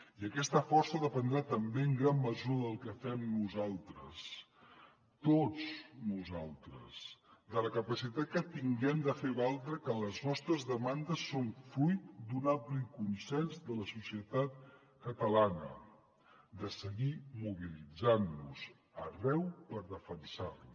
i aquesta força dependrà també en gran mesura del que fem nosaltres tots nosaltres de la capacitat que tinguem de fer valdre que les nostres demandes són fruit d’un ampli consens de la societat catalana de seguir mobilitzant nos arreu per defensar les